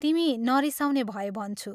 तिमी नरिसाउने भए भन्छु।